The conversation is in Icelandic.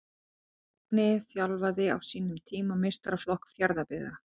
Magni þjálfaði á sínum tíma meistaraflokk Fjarðabyggðar.